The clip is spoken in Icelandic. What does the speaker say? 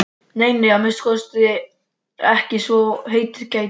Nei, nei, að minnsta kosti ekki svo heitið gæti.